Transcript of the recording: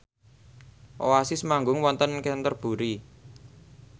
Oasis manggung wonten Canterbury